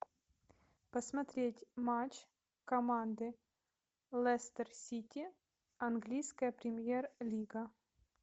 посмотреть матч команды лестер сити английская премьер лига